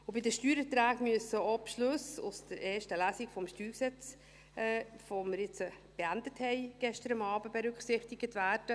Bei den Steuererträgen müssen auch die Beschlüsse aus der ersten Lesung zur Revision des Steuergesetzes (StG), die wir gestern Abend beendeten, berücksichtigt werden.